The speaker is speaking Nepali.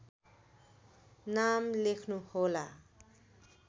नाम लेख्नुहोला